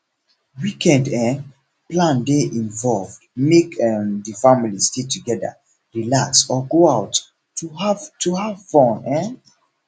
weekend um plan de involve make um di family stay together relax or go out to have to have fun um